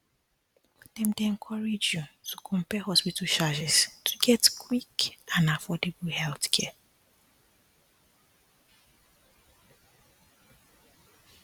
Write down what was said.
dem dey encourage you to compare hospital charges to get quick and affordable healthcare